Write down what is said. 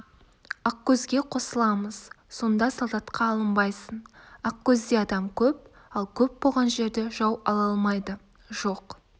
ақкөзге қосыламыз сонда солдатқа алынбайсың ақкөзде адам көп ал көп болған жерді жау ала алмайды жоқ